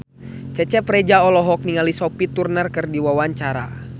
Cecep Reza olohok ningali Sophie Turner keur diwawancara